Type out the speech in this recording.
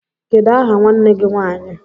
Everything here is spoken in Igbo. Kedụ aha nwanne gị nwanyị?